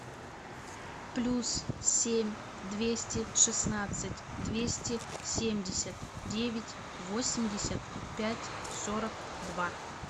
плюс семь двести шестнадцать двести семьдесят девять восемьдесят пять сорок два